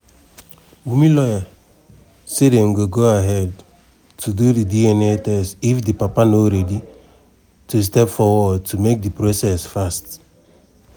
wunmi lawyer say dem go go ahead to do di dna test if di papa no ready to step forward to make di process fast.